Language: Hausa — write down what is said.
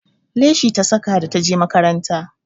Leshi ta saka da ta je makaranta